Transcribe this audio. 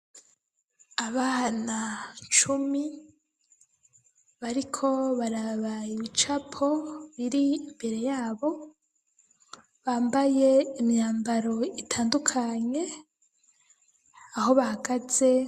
Abana cumi bariko baraba ibicapo biri imbere yabo bambaye imyambaro itandukanye aho bahagaze.